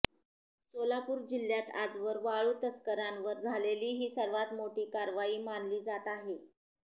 सोलापूर जिल्ह्यात आजवर वाळू तस्करांवर झालेली ही सर्वात मोठी कारवाई मानली जात आहे